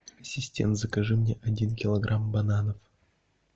ассистент закажи мне один килограмм бананов